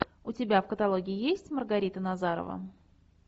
у тебя в каталоге есть маргарита назарова